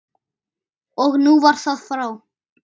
Og nú var það frá.